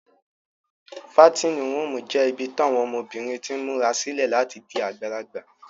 Fatinin ruumu jẹ ibi tawọn ọmọbirin tin mura sile lati di agbalagba.